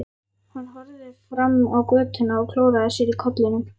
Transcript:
Hann horfði fram á götuna og klóraði sér í kollinum.